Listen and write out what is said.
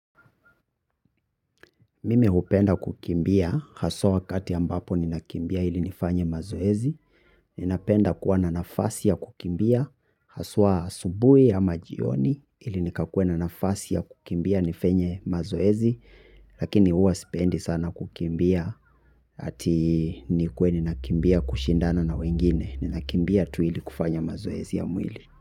Mimi hupenda kukimbia, haswa wakati ambapo ninakimbia ili nifanye mazoezi, ninapenda kuwa na nafasi ya kukimbia, haswa asubui ama jioni ili nikakue na nafasi ya kukimbia nifenye mazoezi, lakini uwa sipendi sana kukimbia, hati nikue ninakimbia kushindana na wengine, ninakimbia tu ili kufanya mazoezi ya mwili.